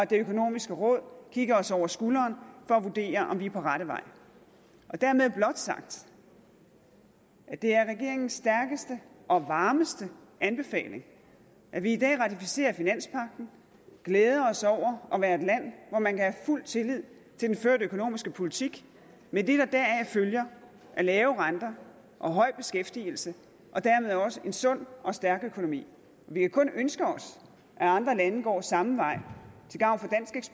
det økonomiske råd kigger os over skulderen for at vurdere om vi er på rette vej dermed blot sagt at det er regeringens stærkeste og varmeste anbefaling at vi i dag ratificerer finanspagten og glæder os over at være et land hvor man kan have fuld tillid til den førte økonomiske politik med det der deraf følger af lave renter og høj beskæftigelse og dermed også en sund og stærk økonomi vi kan kun ønske os at andre lande går samme vej til gavn